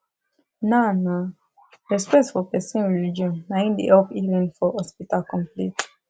na na respect for person religion na im da help healing for hospital complete